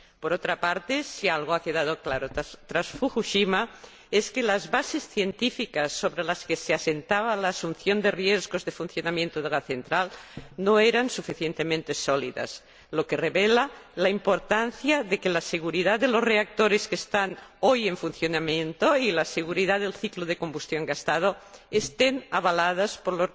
Por otra parte, si algo ha quedado claro tras Fukushima, es que las bases científicas sobre las que se asentaba la asunción de riesgos de funcionamiento de la central no eran suficientemente sólidas, lo que revela la importancia de que la seguridad de los reactores que están hoy en funcionamiento y la seguridad del ciclo de combustión gastado estén avaladas por